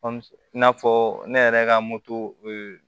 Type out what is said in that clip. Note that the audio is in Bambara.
i n'a fɔ ne yɛrɛ ka